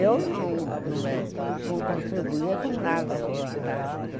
Eu não não contribuía com nada.